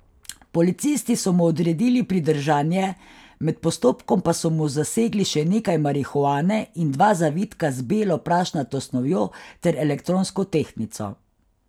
Policisti so mu odredili pridržanje, med postopkom pa so mu zasegli še nekaj marihuane in dva zavitka z belo prašnato snovjo ter elektronsko tehtnico.